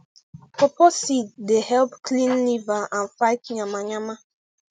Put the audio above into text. pawpaw seed dey help clean liver and fight yama yama